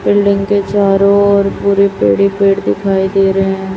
Building के चारों ओर पूरे पेड़ ही पेड़ दिखाई दे रहे हैं।